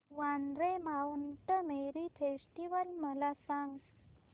Vandre Mount Mary festival मला सांग